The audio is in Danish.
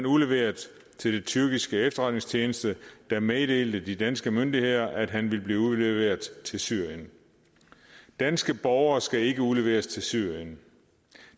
udleveret til tyrkiske efterretningstjeneste der meddelte de danske myndigheder at han ville blive udleveret til syrien danske borgere skal ikke udleveres til syrien